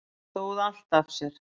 Stóð allt af sér